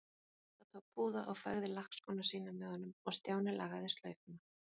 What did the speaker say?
Bogga tók púða og fægði lakkskóna sína með honum og Stjáni lagaði slaufuna.